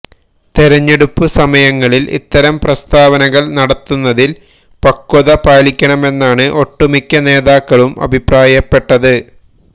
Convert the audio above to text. തെരഞ്ഞെടുപ്പ് സമയങ്ങളില് ഇത്തരം പ്രസ്താവനകള് നടത്തുന്നതില് പക്വത പാലിക്കണമെന്നാണ് ഒട്ടുമിക്കനേതാക്കളും അഭിപ്രായപ്പെട്ടത്